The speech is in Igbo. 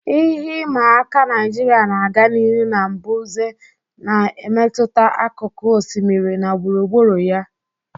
Ihe ịma aka Naijiria na-aga n'ihu na mbuze na-emetụta akụkụ osimiri na gburugburu ya.